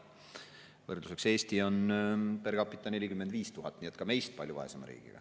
Võrdluseks, Eestis on per capita 45 000, nii et ka meist palju vaesem riik.